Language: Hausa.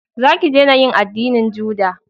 Za ki dena yin addinin juda